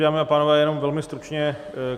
Dámy a pánové, jenom velmi stručně.